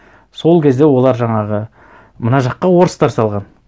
сол кезде олар жаңағы мына жаққа орыстар салған